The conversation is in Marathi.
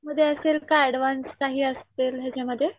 मध्ये असेल का ऍडव्हान्स काही असलेलं ह्याच्या मध्ये.